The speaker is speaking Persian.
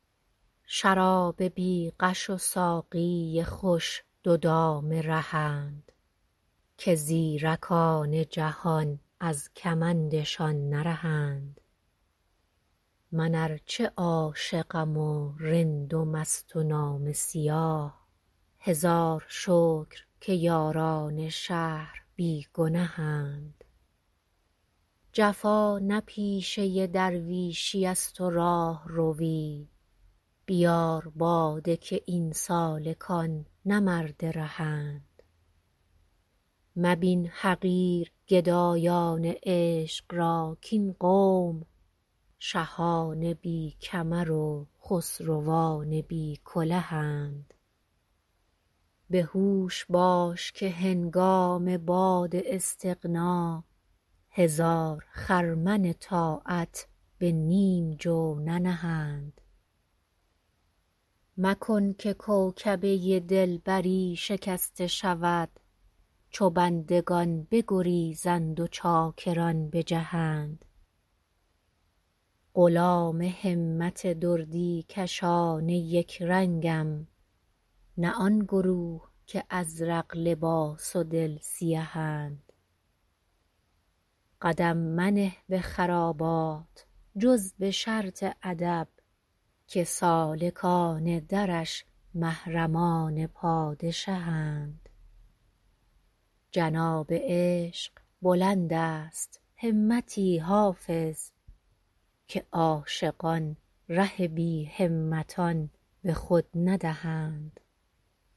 شراب بی غش و ساقی خوش دو دام رهند که زیرکان جهان از کمندشان نرهند من ار چه عاشقم و رند و مست و نامه سیاه هزار شکر که یاران شهر بی گنهند جفا نه پیشه درویشیست و راهروی بیار باده که این سالکان نه مرد رهند مبین حقیر گدایان عشق را کاین قوم شهان بی کمر و خسروان بی کلهند به هوش باش که هنگام باد استغنا هزار خرمن طاعت به نیم جو ننهند مکن که کوکبه دلبری شکسته شود چو بندگان بگریزند و چاکران بجهند غلام همت دردی کشان یک رنگم نه آن گروه که ازرق لباس و دل سیهند قدم منه به خرابات جز به شرط ادب که سالکان درش محرمان پادشهند جناب عشق بلند است همتی حافظ که عاشقان ره بی همتان به خود ندهند